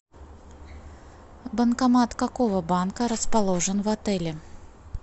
банкомат какого банка расположен в отеле